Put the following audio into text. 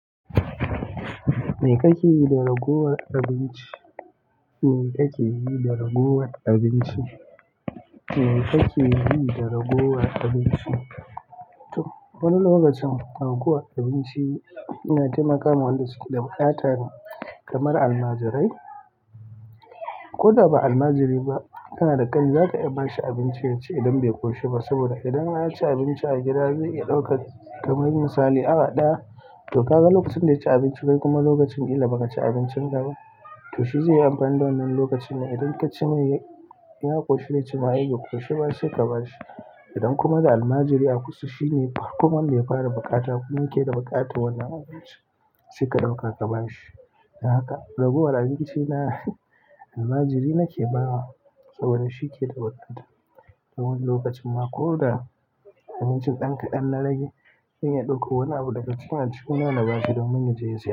Me ka ke yi da ragowar abinci. Me kake yi da raguwar abinci? Me kake yi da raguwar abinci? To, wani lokacin raguwar abinci na taimakawa waɗanda suke da buƙatar kamar almajirai. Ko da ba almajiri ba, kana da ƙani zaka iya bashi abinci yaci idan bai koshi ba. Saboda idan an ci abinci a gida zai iya ɗaukar, kamar misali awa ɗaya, to kaga lokacin da ya ci abinci kai kuma lokacin ƙila baka ci abincin ka ba. To shi zai yi amfani da wannan lokacin ne idan ka ce mai ya koshi zai ce ma ai bai koshi ba sai ka ba shi. Idan kuma da almajiri a kusa shine koma mai ya fara buƙata kuma yake da buƙatar wannan abincin, sai ka ɗauka ka ba shi. Don haka raguwar abinci na almajiri nake ba wa saboda shi yake da buƙata. Wani lokacin ma ko da abincin ɗan kaɗan na rage, zan iya ɗaukan wani abu daga cikin aljihu na na bashi domin yaje yaci.